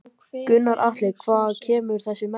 Gunnar Atli: Hvaðan kemur þessi metnaður?